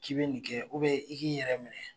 K'i be nin kɛ i k'i yɛrɛ minɛ.